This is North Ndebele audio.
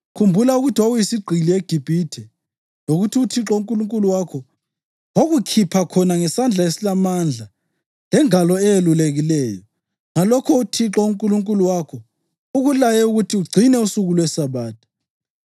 Khumbula ukuthi wawuyisigqili eGibhithe lokuthi uThixo uNkulunkulu wakho wakukhipha khona ngesandla esilamandla lengalo eyelulekileyo. Ngalokho uThixo uNkulunkulu wakho ukulaye ukuthi ugcine usuku lweSabatha.